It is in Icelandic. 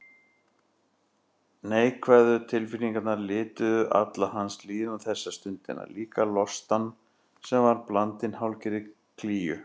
Neikvæðu tilfinningarnar lituðu alla hans líðan þessa stundina, líka lostann sem var blandinn hálfgerðri klígju.